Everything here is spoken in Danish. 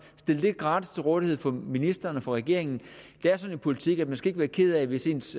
gratis til rådighed for ministeren og for regeringen det er sådan i politik at man ikke skal være ked af hvis ens